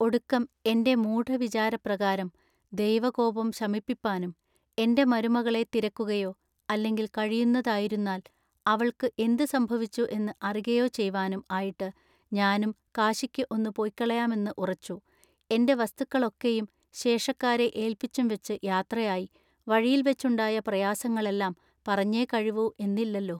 ഒടുക്കും എന്റെ മൂഢവിചാരപ്രകാരം ദൈവകോപം ശമിപ്പിപ്പാനും എന്റെ മരുമകളെ തിരക്കുകയൊ അല്ലെങ്കിൽ കഴിയുന്നതായിരുന്നാൽ അവൾക്ക് എന്ത് സംഭവിച്ചു എന്നു അറികയൊ ചെയ്‌വാനും ആയിട്ടു ഞാനും കാശിക്ക് ഒന്നു പൊയ്ക്കളയാമെന്ന് ഉറച്ചു എന്റെ വസ്തുക്കളൊക്കെയും ശേഷക്കാരെ ഏൽപ്പിച്ചും വച്ച് യാത്രയായി വഴിയിൽവച്ചുണ്ടായ പ്രയാസങ്ങളെല്ലാം പറഞ്ഞേ കഴിവൂ എന്നില്ലല്ലൊ.